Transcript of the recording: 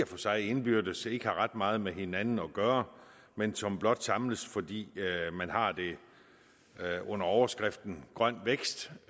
for sig indbyrdes ikke har ret meget med hinanden at gøre men som blot samles fordi man har det under overskriften grøn vækst